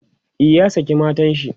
e ya saki matanshi